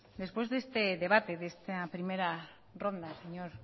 después de este debate de esta primera ronda señor